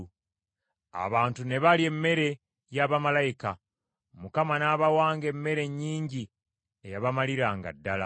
Abantu ne balya emmere ya bamalayika; Mukama n’abawanga emmere nnyingi eyabamaliranga ddala.